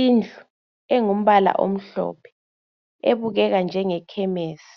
Indlu engumbala omhlophe ebukeka njengeKhemisi